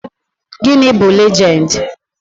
Gịnị bụ legend?